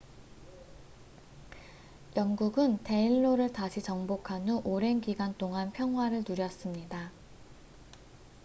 영국은 데인로를 다시 정복한 후 오랜 기간 동안 평화를 누렸습니다